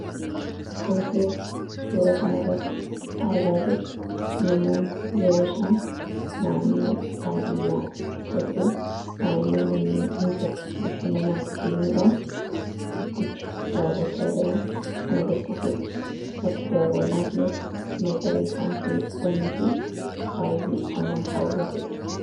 wantinuti suura kan arratti argaa jir namoon yeroo isaan naannoo baadiyyaa keessatuu naannoo manneen insirre bashannanaaf deemuudhaan udducha daawwachaa jiran kan agarsiisuudha bakki daawwannaa kunis magariisaan kanuffamii fi baay'ee kan nama hawwatudha